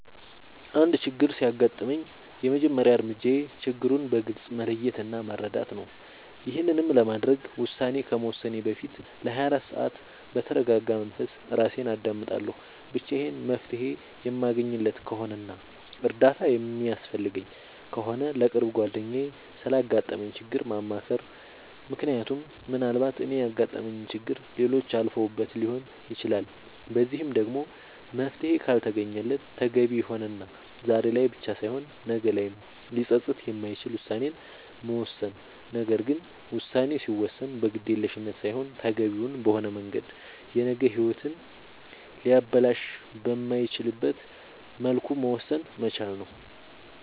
አንድ ችግር ሲያጋጥመኝ የመጀመሪያ እርምጃዬ ችግሩን በግልፅ መለየት እና መረዳት ነዉ ይሄንንም ለማድረግ ውሳኔ ከመወሰኔ በፊት ለ24 ሰዓት በተርጋጋ መንፈስ እራሴን አዳምጣለሁ ብቻዬን መፍትሄ የማለገኝለት ከሆነና እርዳታ የሚያስፈልገኝ ከሆነ ለቅርብ ጓደኛዬ ስላጋጠመኝ ችግር ማማከር ምክንያቱም ምናልባት እኔ ያጋጠመኝን ችግር ሌሎች አልፈውበት ሊሆን ይችላል በዚህም ደግሞ መፍትሄ ካልተገኘለት ተገቢ የሆነና ዛሬ ላይ ብቻ ሳይሆን ነገ ላይም ሊፀፅት የማይችል ውሳኔን መወሰን ነገር ግን ውሳኔ ሲወሰን በግዴለሽነት ሳይሆን ተገቢውን በሆነ መንገድ የነገ ሂወትን ሊያበላሽ በማይችልበት መልኩ መወሰን መቻል ነዉ